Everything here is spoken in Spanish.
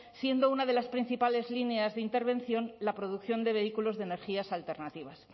siendo una de las principales líneas de intervención la producción de vehículos de energías alternativas